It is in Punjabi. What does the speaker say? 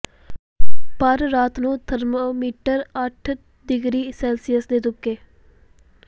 ਪਰ ਰਾਤ ਨੂੰ ਥਰਮਾਮੀਟਰ ਅੱਠ ਡਿਗਰੀ ਸੈਲਸੀਅਸ ਦੇ ਤੁਪਕੇ